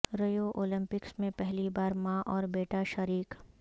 Rio Olympics میں پہلی بار ماں اور بیٹا شریک